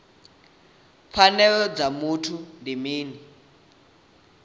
pfanelo dza muthu ndi mini